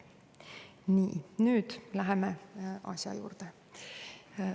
Nii, nüüd läheme asja juurde.